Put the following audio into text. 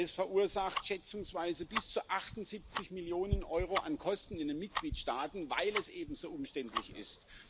Es verursacht schätzungsweise bis zu 78 Millionen Euro an Kosten in den Mitgliedstaaten, weil es eben so umständlich ist.